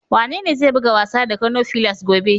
Wanene zai buga wasa da Kano fillars gobe?